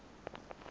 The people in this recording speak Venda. mutambule